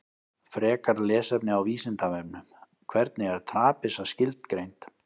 Frekara lesefni á Vísindavefnum: Hvernig er trapisa skilgreind?